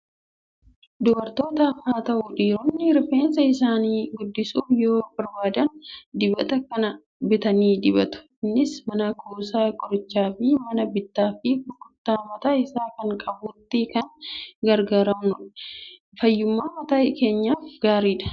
Dubartootas haa ta'u, dhiironni rifeensa isaanii guddisuu yoo barbaadan dibata kana bitanii dibatu. Innis mana kuusaa qorichaafi mana bittaafi gurgurtaa mataa isaa kan qabutti kan gurguramudha. Fayyummaa mataa keenyaaf gaariidha!